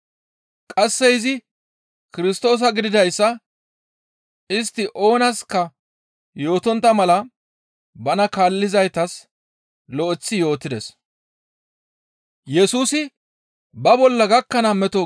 Qasseka izi Kirstoosa gididayssa istti oonaska yootontta mala bana kaallizaytas lo7eththi yootides.